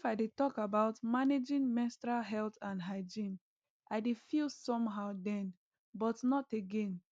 if i dey talk about managing menstrual health and hygiene i dey feel somehow then but not again